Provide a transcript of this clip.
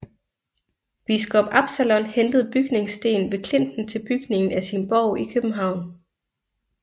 Biskop Absalon hentede bygningsten ved klinten til bygningen af sin borg i København